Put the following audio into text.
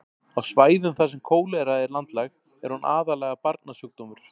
á svæðum þar sem kólera er landlæg er hún aðallega barnasjúkdómur